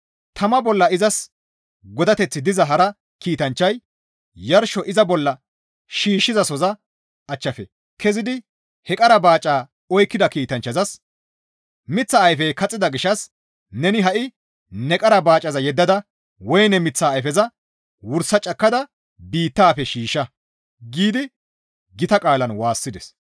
Tama bolla izas godateththi diza hara kiitanchchay yarsho iza bolla shiishshizasoza achchafe kezidi he qara baaca oykkida kiitanchchazas, «Miththa ayfey kaxxida gishshas neni ha7i ne qara baacaza yeddada woyne miththaa ayfeza wursa cakkada biittafe shiishsha» giidi gita qaalan waassides.